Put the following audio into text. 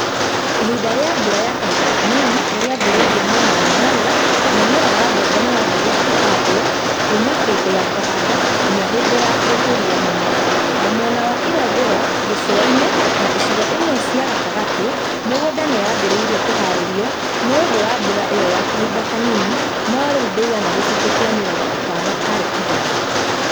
Ihinda ri͂a mbura ya kahinda kanini ni͂ ri͂ambi͂ri͂irie mwena wa Nyanza na mu͂mera wa mbembe ni͂ wambi͂ri͂irie ku͂handwo kuuma hi͂ndi͂ ya ku͂handa nginya hi͂ndi͂ ya gu͂ku͂ria mi͂mera, na mwena wa irathi͂ro, gi͂cu͂a-ini͂ na icigo imwe cia gatagati͂; mi͂gunda ni yambi͂ri͂irie ku͂haari͂rio ni͂ u͂ndu͂ wa mbura i͂yo ya kahinda kanini no ri͂u ndi͂igana gi͂cunji͂ ki͂a mi͂rongo i͂tano hari͂ igana.